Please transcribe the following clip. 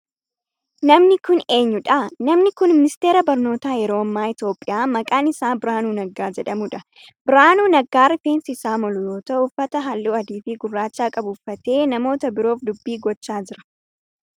Namni kun eenyudha? Namni kun ministeera barnootaa yeroo ammaa Itiyoophiyaa maqaan isaa Birahaanuu Naggaa jedhamudha. Birahaanuu Naggaa rifeensi isaa moluu yoo ta'u uffata halluu adii fi gurraacha qabu uffatee namoota biroof dubbii gochaa jira.